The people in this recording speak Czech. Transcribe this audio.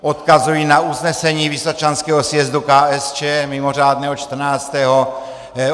Odkazuji na usnesení vysočanského sjezdu KSČ, mimořádného čtrnáctého.